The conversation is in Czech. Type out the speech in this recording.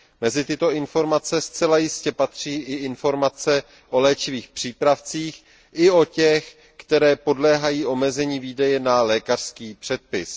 Mezi tyto informace zcela jistě patří i informace o léčivých přípravcích i o těch, které podléhají omezení výdeje na lékařský předpis.